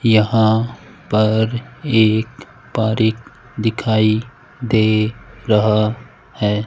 यहां पर एक पारीक दिखाई दे रहा है।